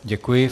Děkuji.